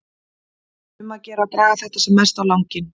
Um að gera að draga þetta sem mest á langinn.